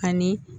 Ani